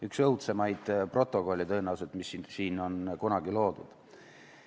Üks õudsemaid protokolle tõenäoliselt, mis siin on kunagi loodud.